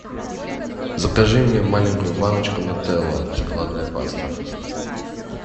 закажи мне маленькую баночку нутелла шоколадная паста